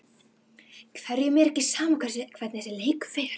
Hverjum er ekki sama hvernig þessi leikur fer?